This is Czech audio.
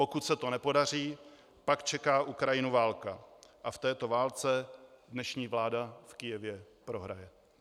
Pokud se to nepodaří, pak čeká Ukrajinu válka a v této válce dnešní vláda v Kyjevě prohraje.